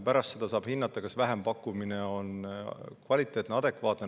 Pärast seda saab hinnata, kas see vähempakkumine on kvaliteetne, adekvaatne.